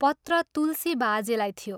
पत्र तुलसी बाजेलाई थियो।